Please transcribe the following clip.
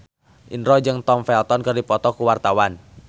Indro jeung Tom Felton keur dipoto ku wartawan